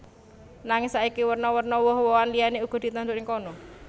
Nanging saiki werna werna woh wohan liyané uga ditandur ing kana